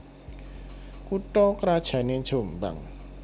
Kutha krajané Jombang